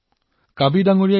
ইয়াৰ দ্বাৰা বহু ক্ষতি হয়